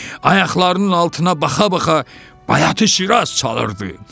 Ayaqlarının altına baxa-baxa Bayatı-Şiraz çalırdı.